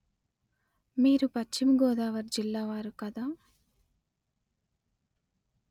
మీరు పశ్చిమ గోదావరి జిల్లా వారు కదా